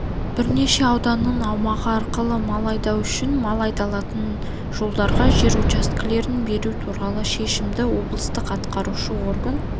бірнеше ауданның аумағы арқылы мал айдау үшін мал айдайтын жолдарға жер учаскелерін беру туралы шешімді облыстық атқарушы орган